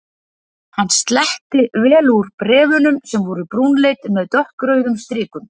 Hann sletti vel úr bréf- unum sem voru brúnleit með dökkrauðum strikum.